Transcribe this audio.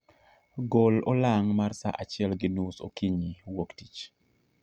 gol olang' mar saa achiel gi nus okinyi wuok tich